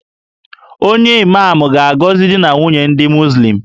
Onye Imam ga-agọzi di na nwunye ndị Muzlim